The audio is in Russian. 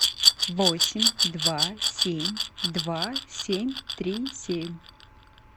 восемь два семь два семь три семь